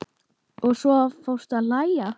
Og svo fórstu að hlæja.